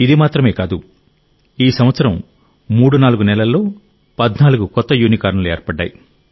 ఇది మాత్రమే కాదు ఈ సంవత్సరం 34 నెలల్లో 14 కొత్త యూనికార్న్లు ఏర్పడ్డాయి